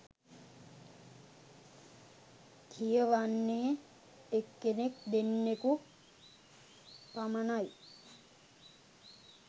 කියවන්නෙ එක්කෙනෙක් දෙන්නකු පමණයි